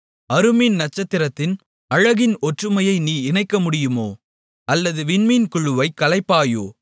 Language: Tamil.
அறுமீன் நட்சத்திரத்தின் அழகின் ஒற்றுமையை நீ இணைக்கமுடியுமோ அல்லது விண்மீன் குழுவை கலைப்பாயோ